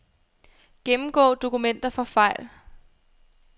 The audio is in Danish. Gennemgå dokumenter for fejl.